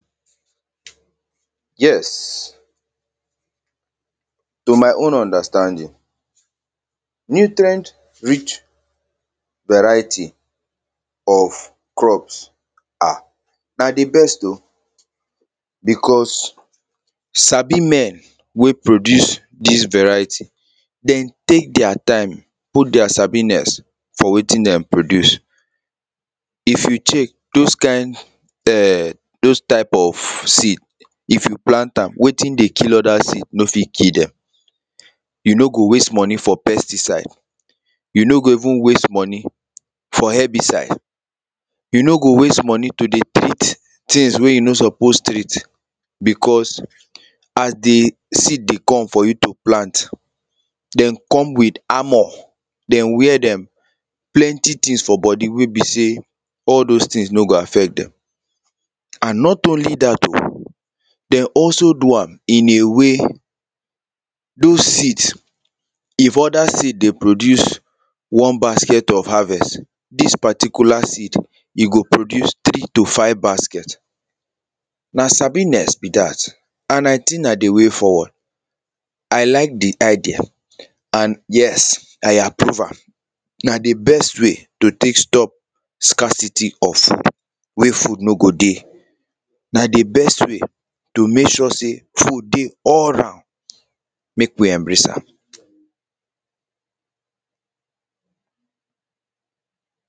yes to my own understanding nutrient rich variety of crops ah na the best o because sabi men wey produce this variety them take their time put their sabiness for wetin they produce if you check those kind um those type of seed if you plant am wetin dey kill other seed no fit kill them you no go waste money for pesticide you no go even waste money for herbicide you no go waste money to dey treat things wey you no suppose treat because as the seed dey come for you to plant they come with armour they wear them plenty things for body wey be say all those things no go affect them and not only that o they also do am in a way those seeds if other seed dey produce one basket of harvest this particular seed e go produce three to five basket na sabiness be that and i think na the way forward i like the idea and yes i approve am na the best way to take stop scarcity of food wey food no go dey na the best way to make sure say food dey all roun make we embrace am